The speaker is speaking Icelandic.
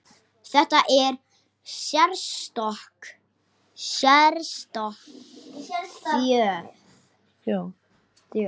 Þetta er sérstök þjóð.